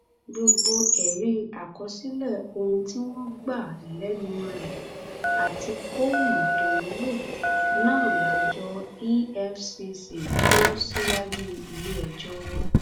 gbogbo ẹrí àkọsílẹ ohun tí wọn gbà lẹnu rẹ àti fóònù tó ń lò náà lájọ efcc kò síwájú iléẹjọ